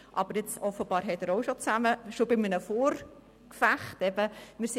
Aber offensichtlich hält er auch schon beim Vorgefecht zusammen.